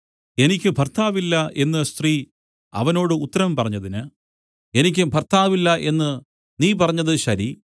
എനിക്ക് ഭർത്താവ് ഇല്ല എന്നു സ്ത്രീ അവനോട് ഉത്തരം പറഞ്ഞതിന് എനിക്ക് ഭർത്താവ് ഇല്ല എന്നു നീ പറഞ്ഞത് ശരി